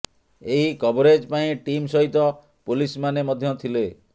ଏହି କଭରେଜ୍ ପାଇଁ ଟିମ୍ ସହିତ ପୋଲିସମାନେ ମଧ୍ୟ ଥିଲେ